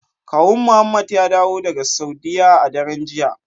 Kawun muhammed ya dawo daga saudiya a daren jiya.